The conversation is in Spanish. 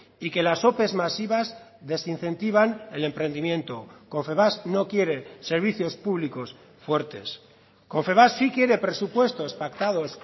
y que las ope masivas desincentivan el emprendimiento confebask no quiere servicios públicos fuertes confebask sí quiere presupuestos pactados